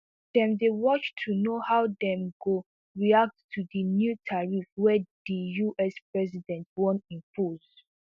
dem dey watch to know how dem go react to di new tariff wey di us president wan impose